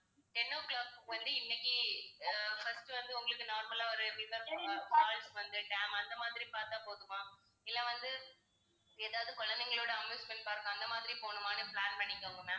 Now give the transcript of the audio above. ten o'clock க்கு வந்து இன்னைக்கு அஹ் first வந்து உங்களுக்கு normal லா ஒரு எப்படி இருந்தாலும் fa~ அஹ் falls வந்து dam அந்த மாதிரி பார்த்தா போதுமா இல்லை வந்து ஏதாவது குழந்தைங்களோட amusement park அந்த மாதிரி போணுமான்னு plan பண்ணிக்கோங்க ma'am